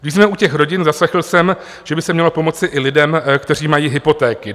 Když jsme u těch rodin, zaslechl jsem, že by se mělo pomoci i lidem, kteří mají hypotéky.